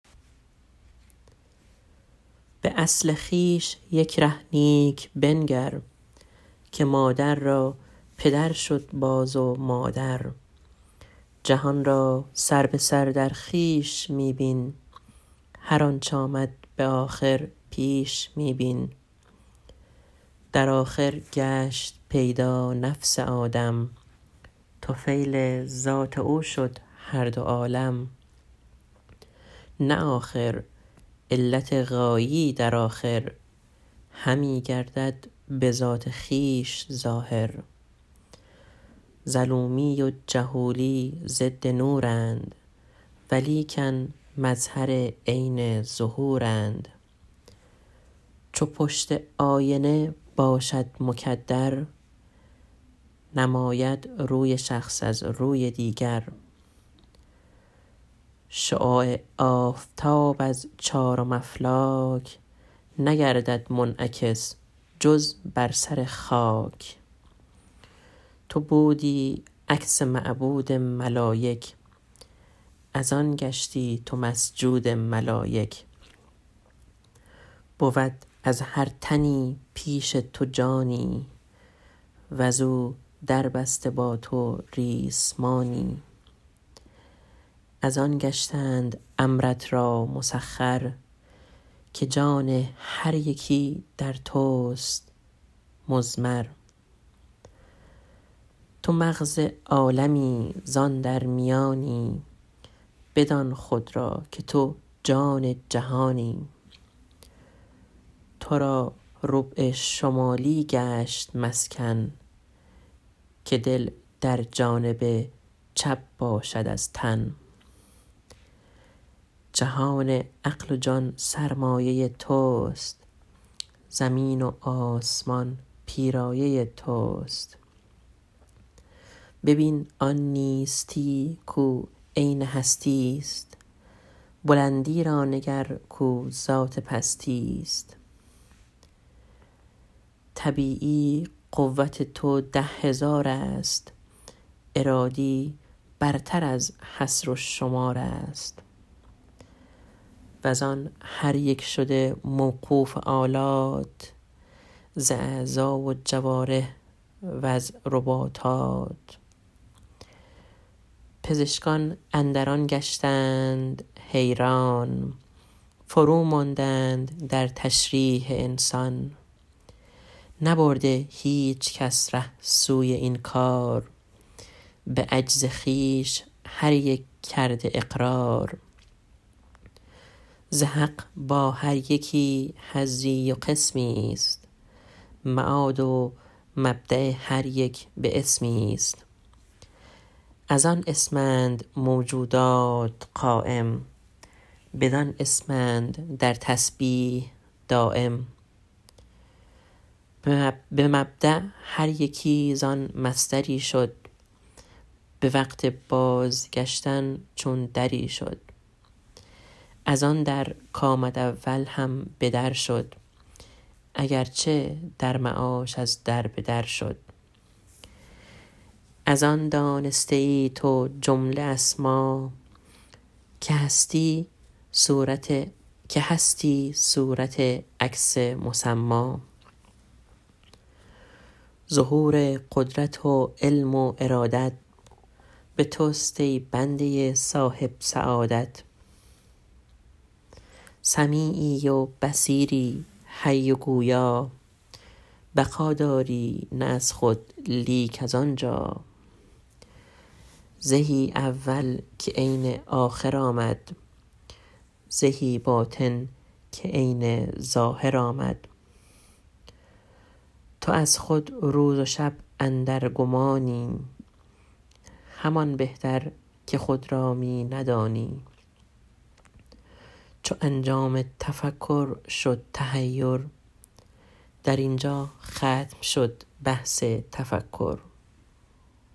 به اصل خویش یک ره نیک بنگر که مادر را پدر شد باز و مادر جهان را سر به سر در خویش می بین هر آنچ آمد به آخر پیش می بین در آخر گشت پیدا نفس آدم طفیل ذات او شد هر دو عالم نه آخر علت غایی در آخر همی گردد به ذات خویش ظاهر ظلومی و جهولی ضد نورند ولیکن مظهر عین ظهورند چو پشت آینه باشد مکدر نماید روی شخص از روی دیگر شعاع آفتاب از چارم افلاک نگردد منعکس جز بر سر خاک تو بودی عکس معبود ملایک از آن گشتی تو مسجود ملایک بود از هر تنی پیش تو جانی وز او در بسته با تو ریسمانی از آن گشتند امرت را مسخر که جان هر یکی در توست مضمر تو مغز عالمی زان در میانی بدان خود را که تو جان جهانی تو را ربع شمالی گشت مسکن که دل در جانب چپ باشد از تن جهان عقل و جان سرمایه توست زمین و آسمان پیرایه توست ببین آن نیستی کو عین هستی است بلندی را نگر کو ذات پستی است طبیعی قوت تو ده هزار است ارادی برتر از حد و شمار است وز آن هر یک شده موقوف آلات ز اعضا و جوارح وز رباطات پزشکان اندرین گشتند حیران فرو ماندند در تشریح انسان نبرده هیچکس ره سوی این کار به عجز خویش هر یک کرده اقرار ز حق با هر یکی حظی و قسمی است معاد و مبدأ هر یک به اسمی است از آن اسمند موجودات قایم بدان اسمند در تسبیح دایم به مبدأ هر یکی زان مصدری شد به وقت بازگشتن چون دری شد از آن در کامد اول هم به در شد اگرچه در معاش از در به در شد از آن دانسته ای تو جمله اسما که هستی صورت عکس مسما ظهور قدرت و علم و ارادت به توست ای بنده صاحب سعادت سمیعی و بصیر و حی و گویا بقا داری نه از خود لیک از آنجا زهی اول که عین آخر آمد زهی باطن که عین ظاهر آمد تو از خود روز و شب اندر گمانی همان بهتر که خود را می ندانی چو انجام تفکر شد تحیر در اینجا ختم شد بحث تفکر